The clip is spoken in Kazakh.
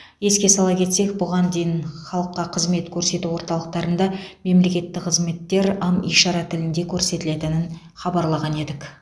еске сала кетсек бұған дейін халыққа қызмет көрсету орталықтарында мемлекеттік қызметтер ым ишара тілінде көрсетілетін хабарлаған едік